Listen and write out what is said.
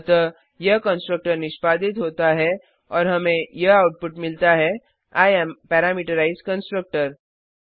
अतः यह कंस्ट्रक्टर निष्पादित होता है और हमें यह आउटपुट मिलता है आई एएम पैरामीटराइज्ड कंस्ट्रक्टर